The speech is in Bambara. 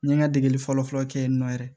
N ye n ka degeli fɔlɔ fɔlɔ kɛ yen nɔ yɛrɛ